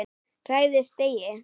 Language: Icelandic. Hræðist eigi!